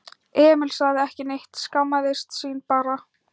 Emil sagði ekki neitt, skammaðist sín bara.